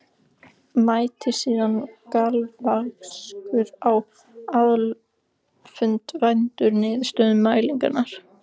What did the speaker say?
Mætti síðan galvaskur á aðalfund væddur niðurstöðum mælinganna.